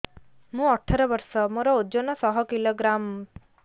ମୁଁ ଅଠର ବର୍ଷ ମୋର ଓଜନ ଶହ କିଲୋଗ୍ରାମସ